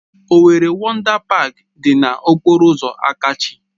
Owerri Wọndá Páák dị na okpọrọ ụzọ Akachi